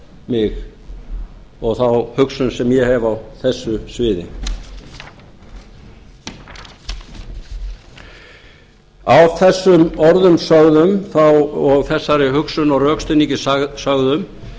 mig og þá hugsun sem ég hef á þessu sviði að þessum orðum sögðum og þessari hugsun og rökstuðningi sögðum